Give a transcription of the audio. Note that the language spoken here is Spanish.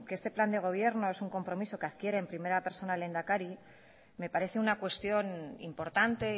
que este plan de gobierno es un compromiso que adquiere en primera persona el lehendakari me parece una cuestión importante